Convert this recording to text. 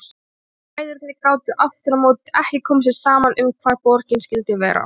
Bræðurnir gátu aftur á móti ekki komið sér saman um hvar borgin skyldi vera.